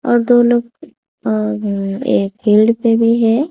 और दो लोग अ एक फील्ड पे भी है।